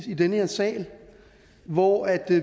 i den her sal hvor